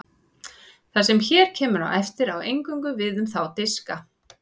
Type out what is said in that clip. Það sem hér kemur á eftir á eingöngu við um þá diska.